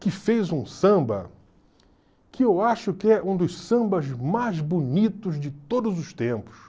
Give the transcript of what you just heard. que fez um samba que eu acho que é um dos sambas mais bonitos de todos os tempos.